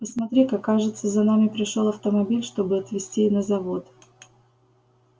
посмотри-ка кажется за нами пришёл автомобиль чтобы отвезти на завод